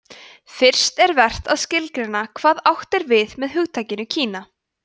fyrst er vert að skilgreina hvað átt er við með hugtakinu kína